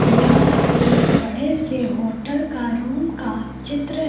यह एक बड़े से होटल का रूम का चित्र--